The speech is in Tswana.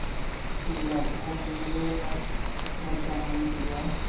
tsela bo neelwa motsamaisi wa